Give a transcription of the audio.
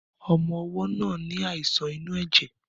Ọmọ ọwó náà ní àìsàn inú èjè